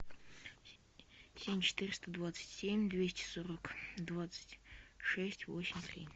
семь четыреста двадцать семь двести сорок двадцать шесть восемь три